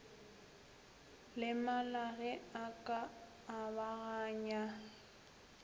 lemala ge a ka abagana